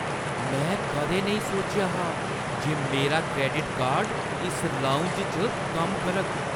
में कदें नेईं सोचेआ हा जे मेरा क्रैडिट कार्ड इस लाउंज च कम्म करग!